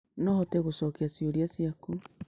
No hote gũcokia ciũria ciaku